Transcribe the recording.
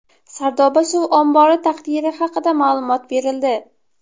Sardoba suv ombori taqdiri haqida ma’lumot berildi.